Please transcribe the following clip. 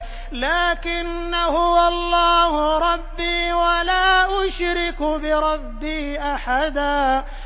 لَّٰكِنَّا هُوَ اللَّهُ رَبِّي وَلَا أُشْرِكُ بِرَبِّي أَحَدًا